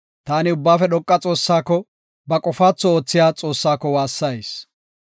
Taani Ubbaafe dhoqa Xoossako, ba qofaatho oothiya Xoossako waassayis.